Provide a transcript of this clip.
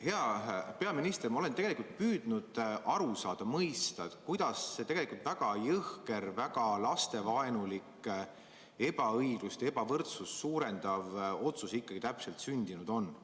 Hea peaminister, ma olen püüdnud aru saada, mõista, kuidas see väga jõhker, väga lastevaenulik, ebaõiglust ja ebavõrdsust suurendav otsus ikkagi täpselt sündinud on.